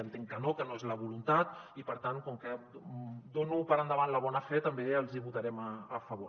entenc que no que no és la voluntat i per tant com que dono per feta la bona fe també els hi votarem a favor